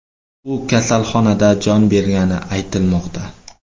U kasalxonada jon bergani aytilmoqda.